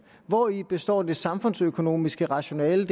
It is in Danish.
hvori består det samfundsøkonomiske rationale i